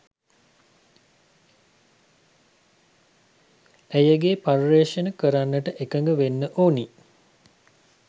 ඇයගේ පර්යේෂණ කරන්නට එකඟ වෙන්න ඕනි.